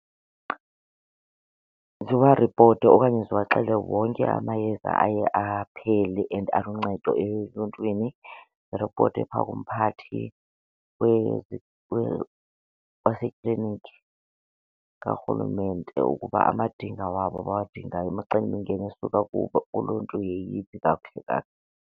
Ziwaripote okanye ziwaxele wonke amayeza aye aphele and aluncedo eluntwini. Iripote phaa kumphathi wasekliniki kaRhulumente ukuba amadinga wabo abawadingayo imicelimingeni esuka kubo uluntu yeyiphi kakuhle kakuhle.